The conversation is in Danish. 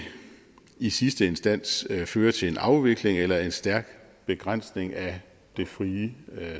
i sidste instans fører til en afvikling eller en stærk begrænsning af det frie